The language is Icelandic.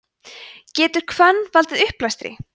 getur hvönn valdið uppblæstri